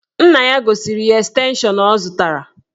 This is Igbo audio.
Nna ya gosiri ya estenshọn ọ zụtara